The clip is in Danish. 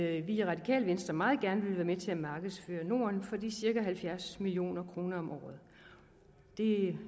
at vi i radikale venstre meget gerne vil være med til at markedsføre norden for de cirka halvfjerds million kroner om året det